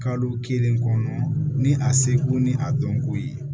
Kadɔw kelen kɔnɔ ni a seko ni a dɔnko ye